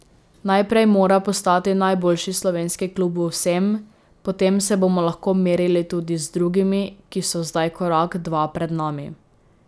Najprej mora postati najboljši slovenski klub v vsem, potem se bomo lahko merili tudi z drugimi, ki so zdaj korak, dva pred nami.